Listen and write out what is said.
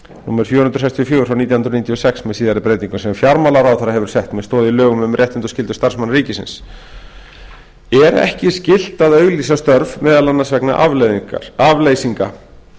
númer fjögur hundruð sextíu og fjögur nítján hundruð níutíu og sex með síðari breytingum sem fjármálaráðherra hefur sett með stoð í lögum um réttindi og skyldur starfsmanna ríkisins er ekki skylt að auglýsa störf meðal annars vegna afleysingar